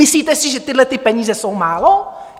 Myslíte si, že tyhlety peníze jsou málo?